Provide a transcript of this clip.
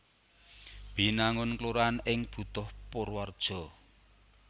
Binangun kelurahan ing Butuh Purwareja